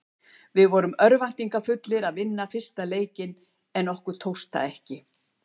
Við vorum örvæntingarfullir að vinna fyrsta leikinn en okkur tókst það ekki.